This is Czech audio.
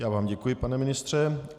Já vám děkuji, pane ministře.